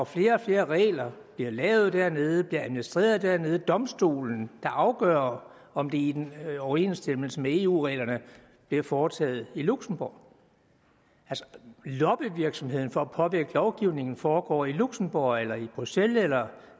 flere og flere regler bliver lavet dernede bliver administreret dernede og domstolen der afgør om det er i overensstemmelse med eu reglerne foretager de i luxembourg lobbyvirksomheden for at påvirke lovgivningen foregår i luxembourg eller bruxelles eller